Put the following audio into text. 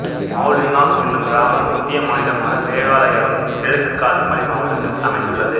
மாவுலின்னாங் என்னும் கிராமம் இந்திய மாநிலமான மேகாலயாவின் கிழக்கு காசி மலை மாவட்டத்தில் அமைந்துள்ளது